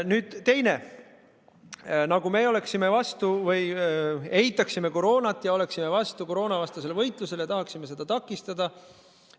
Nüüd teiseks: me nagu eitaksime koroonat ja oleksime vastu koroonavastasele võitlusele, tahaksime seda takistada.